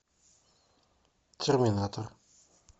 терминатор